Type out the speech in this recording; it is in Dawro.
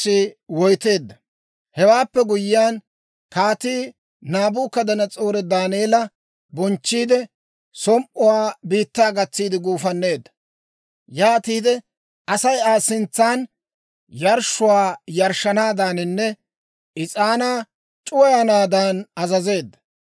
Hewaappe guyyiyaan, Kaatii Naabukadanas'oori Daaneela bonchchiidde, som"uwaa biittaa gatsiide guufanneedda; yaatiide Asay Aa sintsan yarshshuwaa yarshshanaadaaninne is'aanaa c'uwayanaadan azazeedda.